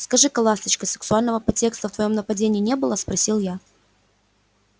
скажи-ка ласточка сексуального подтекста в твоём нападении не было спросил я